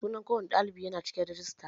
Sunan ko wani ɗalibi yana cikin rajista